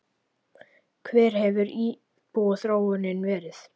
Hver hefur íbúaþróunin verið?